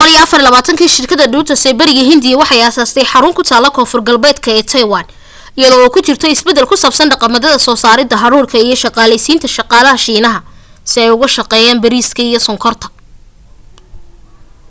1624 shirkada dutch ee bariga india waxay aasastay xarun kutaala konfurta galbeed ee taiwan iyada oo kujirto isbadal kusabsan dhaqamada soo sarida hadhuudhka iyo shaqaaleysinta shaqaalaha shiinaha si ay uga shaqeeyaan bariiskeda iyo sonkorta